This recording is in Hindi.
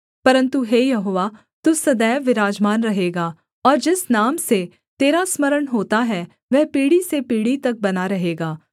परन्तु हे यहोवा तू सदैव विराजमान रहेगा और जिस नाम से तेरा स्मरण होता है वह पीढ़ी से पीढ़ी तक बना रहेगा